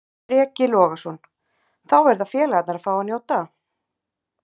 Breki Logason: Þá verða félagarnir að fá að njóta?